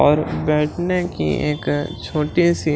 और बैठने की एक छोटी सी--